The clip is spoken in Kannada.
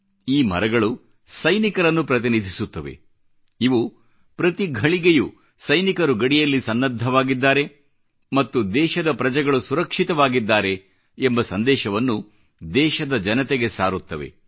ಈ ಮರಗಳು ಸೈನಿಕರನ್ನು ಪ್ರತಿನಿಧಿಸುತ್ತವೆ ಇವು ಪ್ರತಿ ಘಳಿಗೆಯೂ ಸೈನಿಕರು ಗಡಿಯಲ್ಲಿ ಸನ್ನದ್ಧವಾಗಿದ್ದಾರೆ ಮತ್ತು ದೇಶದ ಪ್ರಜೆಗಳು ಸುರಕ್ಷಿತವಾಗಿದ್ದಾರೆ ಎಂಬ ಸಂದೇಶವನ್ನು ದೇಶದ ಜನತೆಗೆ ಸಾರುತ್ತವೆ